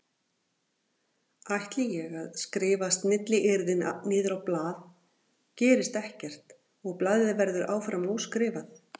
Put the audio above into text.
Ætli ég að skrifa snilliyrðin niður á blað gerist ekkert og blaðið verður áfram óskrifað.